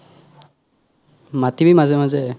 মাতিবি মাজে মাজে